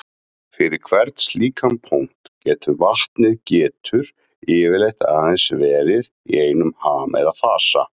Fyrir hvern slíkan punkt getur vatnið getur yfirleitt aðeins verið í einum ham eða fasa.